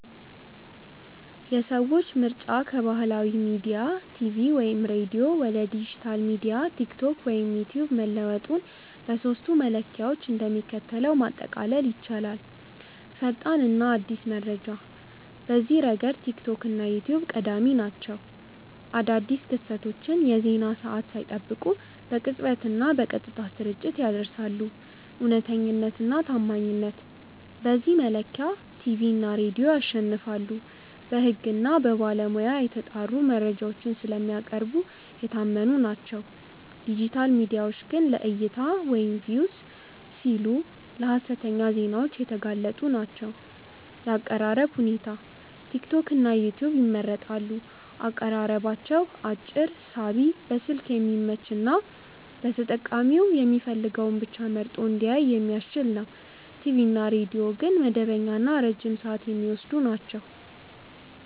የሰዎች ምርጫ ከባህላዊ ሚዲያ (ቲቪ/ሬዲዮ) ወደ ዲጂታል ሚዲያ (ቲክቶክ/ዩትዩብ) መለወጡን በሦስቱ መለኪያዎች እንደሚከተለው ማጠቃለል ይቻላል፦ ፈጣንና አዲስ መረጃ፦ በዚህ ረገድ ቲክቶክ እና ዩትዩብ ቀዳሚ ናቸው። አዳዲስ ክስተቶችን የዜና ሰዓት ሳይጠብቁ በቅጽበትና በቀጥታ ስርጭት ያደርሳሉ። እውነተኛነትና ታማኝነት፦ በዚህ መለኪያ ቲቪ እና ሬዲዮ ያሸንፋሉ። በሕግና በባለሙያ የተጣሩ መረጃዎችን ስለሚያቀርቡ የታመኑ ናቸው፤ ዲጂታል ሚዲያዎች ግን ለዕይታ (Views) ሲሉ ለሀሰተኛ ዜናዎች የተጋለጡ ናቸው። የአቀራረብ ሁኔታ፦ ቲክቶክና ዩትዩብ ይመረጣሉ። አቀራረባቸው አጭር፣ ሳቢ፣ በስልክ የሚመች እና ተጠቃሚው የሚፈልገውን ብቻ መርጦ እንዲያይ የሚያስችል ነው። ቲቪ እና ሬዲዮ ግን መደበኛና ረጅም ሰዓት የሚወስዱ ናቸው።